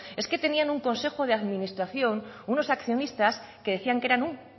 es que tenían un consejo de administración unos accionista que decían que eran un